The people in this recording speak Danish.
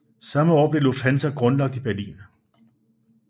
Samme år blev Lufthansa grundlagt i Berlin